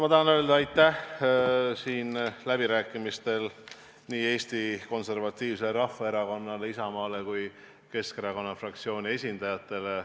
Ma tahan öelda aitäh läbirääkimistel osalemise eest nii Eesti Konservatiivsele Rahvaerakonnale, Isamaale kui ka Keskerakonna fraktsiooni esindajatele.